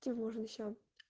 можно сейчас